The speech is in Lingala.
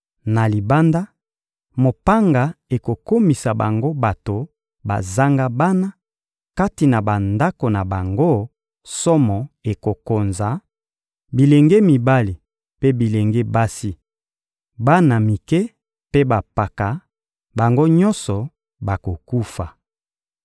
Na libanda, mopanga ekokomisa bango bato bazanga bana; kati na bandako na bango, somo ekokonza; bilenge mibali mpe bilenge basi, bana mike mpe bampaka, bango nyonso bakokufa.